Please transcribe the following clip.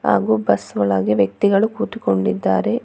ಹಾಗೂ ಬಸ್ ಒಳಗೆ ವ್ಯಕ್ತಿಗಳು ಕೂತುಕೊಂಡಿದ್ದಾರೆ.